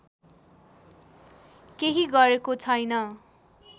केही गरेको छैन